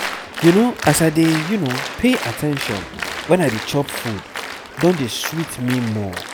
you know as i dey pay at ten tion when i dey chop food don dey sweet me more